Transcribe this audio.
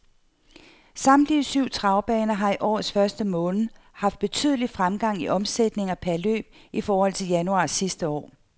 Samtlige syv travbaner har i årets første måned haft betydelig fremgang i omsætningen per løb i forhold til januar sidste år.